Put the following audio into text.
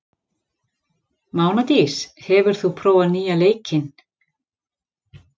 Mánadís, hefur þú prófað nýja leikinn?